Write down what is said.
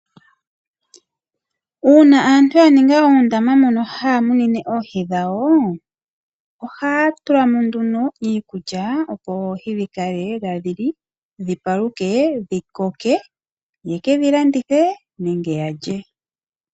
Uuna aantu ya ninga oondama mono haya munine oohi dhawo, ohaatulamo iikulya opo oohi dhikale tadhili, dhipaluke dho dhikoke ye ke dhi landithe nenge yeke dhi lye.